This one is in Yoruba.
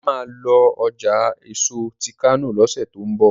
Ola má lọ ọjà èso tí kano lọsẹ ti n bọ: